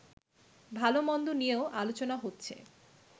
ভালোমন্দ নিয়েও আলোচনা হচ্ছে